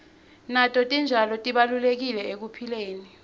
nato titjalo tibalulekile ekuphileni